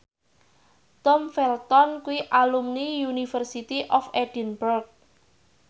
Tom Felton kuwi alumni University of Edinburgh